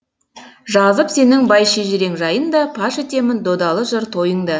жазып сенің бай шежірең жайында паш етемін додалы жыр тойыңда